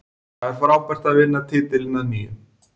Það er frábært að vinna titilinn að nýju.